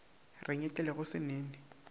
re nyetlele go se nene